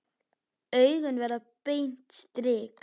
Augun verða beint strik.